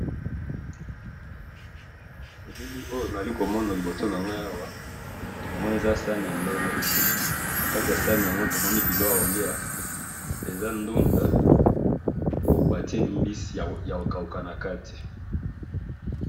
Elili oyo nazali komona liboso nangayi awa, namoni eza saani yambe, nakati yasaani yango tomoni biloko yakoliya, eza ndunda oyo batye mbisi yakokawuka nakati